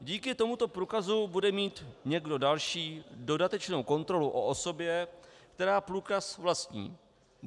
Díky tomuto průkazu bude mít někdo další dodatečnou kontrolu o osobě, která průkaz vlastní.